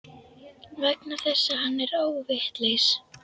Vegna þess að hann er óvitlaus.